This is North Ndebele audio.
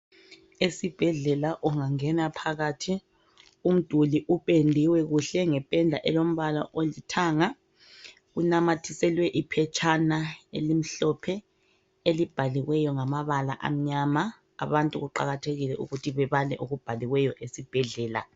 Esibhedlela ungangena phakathi umduli upendiwe kuhle ngependa elombala olithanga kunamathiselwe iphetshana elimhlophe elibhaliweyo ngamabala amnyama. Abantu kuqakathekile ukuthi bebale okubhaliweyo esibhedlela.